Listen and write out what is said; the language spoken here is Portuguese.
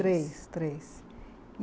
Três, três.